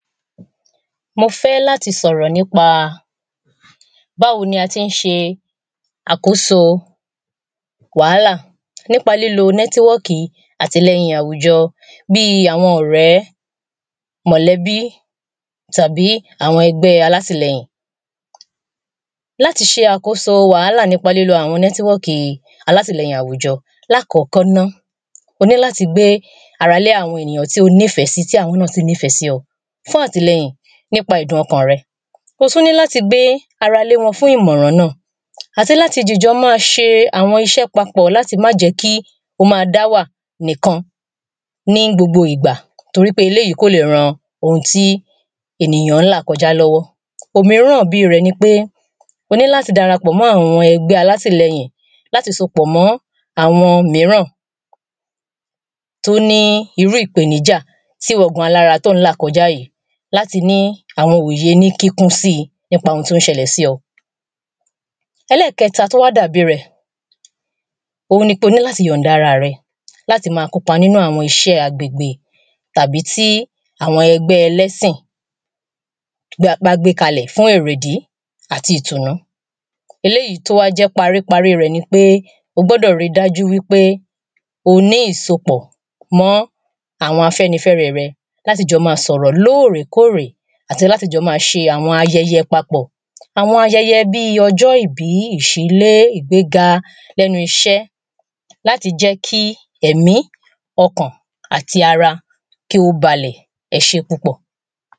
Mo fẹ́ láti sọ̀rọ̀ nípa báwo ni a tí ń ṣe àkóso wàhálà nípa lílo nẹ́tíwọ́ọ̀kì àtilẹyìn àwùjọ bí àwọn ọ̀rẹ́ mọ̀lẹ́bí tàbí àwọn ẹgbẹ́ alátìlẹyìn. Láti ṣe àkóso wàhálà nípa lílo àwọn nẹ́tíwọ́ọ̀kì yìí alátìlẹyìn àwùjọ. Lákọ̀kọ́ ná o ní láti gbé ara lé àwọn ènìyàn tí o nífẹ̀ẹ́ sí tí àwọn náà sì nífẹ̀ẹ́ sí ọ fún àtìlẹyìn nípa ẹ̀dùn ọkàn rẹ̄. O tún ní láti gbé ara lé wọn fún ìmọ̀ràn náà àti láti dìjọ má ṣe àwọn iṣẹ́ papọ̀ láti má jẹ́ kí o má dá wà nìkan ní gbogbo ìgbà torípé eléèyí kò le ran ohun tí ènìyàn ń là kọjá lọ́wọ́. Òmíràn bíi rẹ̀ ni pé o níláti darapọ̀ mọ́ àwọn ẹgbẹ́ alátìlẹyìn láti so pọ̀ mọ́ àwọn míràn tó ní irú ìpèníjà tíwọ gan-an alára tó ń là kọjá yìí láti ní àwọn òye kíkún sí nípa ohun tó ń ṣẹlẹ̀ sí ọ. Ẹ̄lẹ́ẹ̀kẹta tó wá dàbí rẹ̀ ohun ni pé o ní láti yọ̀ǹda ara rẹ láti má kópa nínú àwọn iṣẹ́ agbègbè tàbí tí àwọn ẹgbẹ́ ẹlẹ́sìn bí a bá gbé lalẹ̀ fún èrèdí àti ìtùnú. Ēléèyí tó wá jẹ́ parí parí rẹ̀ ni pé o gbọ́dọ̀ rí dájú wí pé o ní ìsopọ̀ mọ́ àwọn afẹ́nifẹ́re rẹ láti jọ má sọ̀rọ̀ lóòrèkóòrè àti láti jọ má ṣe àwọn ayẹyẹ papọ̀. Àwọn ayẹyẹ bí ọjọ́ ìbí, ìṣílé, ìgbéga lẹ́nu iṣẹ́ láti jẹ́ kí èmí ọ̀kàn àti ara kí ó balẹ̀ ẹ ṣé púpọ̀.